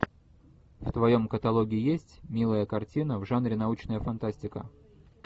в твоем каталоге есть милая картина в жанре научная фантастика